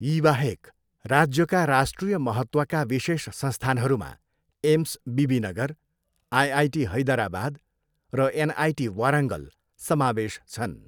यीबाहेक, राज्यका राष्ट्रिय महत्त्वका विशेष संस्थानहरूमा एम्स बिबिनगर, आइआइटी हैदराबाद, र एनआइटी वारङ्गल समावेश छन्।